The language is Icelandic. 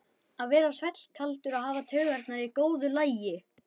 Að vera svellkaldur og hafa taugarnar í góðu lagi!